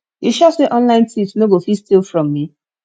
you sure say online thieves no go fit steal from me